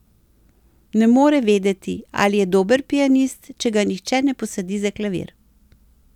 Ne more vedeti, ali je dober pianist, če ga nihče ne posadi za klavir.